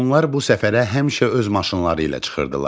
Onlar bu səfərə həmişə öz maşınları ilə çıxırdılar.